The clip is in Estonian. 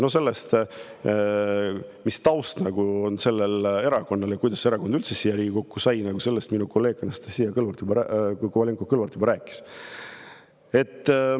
No sellest, mis taust on sellel erakonnal ja kuidas see erakond üldse siia Riigikokku sai, kolleeg Anastassia Kovalenko-Kõlvart juba rääkis.